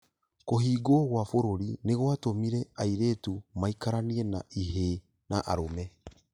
Kũhingwo gwa bũrũri nĩ gwatũmire airitu maikaranie na ihĩĩ na arũme.